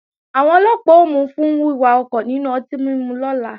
Àwọn Ọlọ́pàá ó mú u fún wíwà ọkọ̀ nínú ọtí mímu lọ́la